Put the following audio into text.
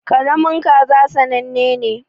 Karamin kaza sannane ne.